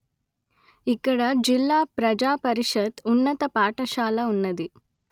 ఇక్కడ జిల్లా ప్రజా పరిషత్ ఉన్నత పాఠశాల ఉన్నది